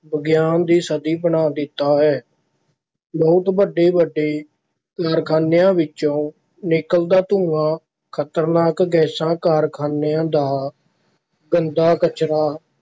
ਵਿਗਿਆਨ ਦੀ ਸਦੀ ਬਣਾ ਦਿੱਤਾ ਹੈ ਬਹੁਤ ਵੱਡੇ ਵੱਡੇ ਕਾਰਖਾਨਿਆਂ ਵਿੱਚੋਂ ਨਿਕਲਦਾ ਧੂੰਆਂ ਖ਼ਤਰਨਾਕ ਗੈਸਾਂਂ ਕਾਰਖਾਨਿਆਂ ਦਾ ਗੰਦਾ ਕਚਰਾ